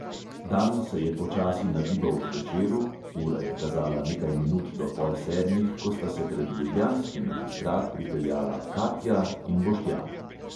Dan se je počasi nagibal k večeru, ura je kazala nekaj minut do pol sedmih, ko sta se pred ljubljanski magistrat pripeljala katja in boštjan.